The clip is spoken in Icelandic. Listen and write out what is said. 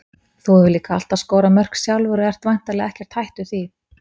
Þú hefur líka alltaf skorað mörk sjálfur og ert væntanlega ekkert hættur því?